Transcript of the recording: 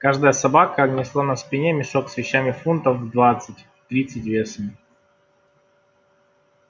каждая собака несла на спине мешок с вещами фунтов в двадцать тридцать весом